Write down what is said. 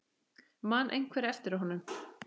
Man einhver eftir honum?